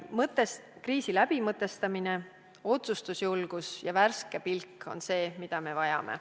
Kriisi mõtestamine, otsustusjulgus ja värske pilk on see, mida me vajame.